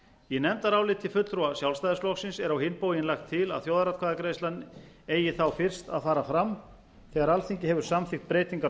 í nefndaráliti fulltrúa sjálfstæðisflokksins er á hinn bóginn lagt til að þjóðaratkvæðagreiðslan eigi þá fyrst að fara fram þegar alþingi hefur samþykkt breytingar á